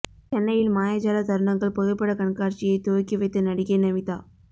சென்னையில் மாயஜால தருணங்கள் புகைப்பட கண்காட்சியை துவக்கி வைத்த நடிகை நமீதா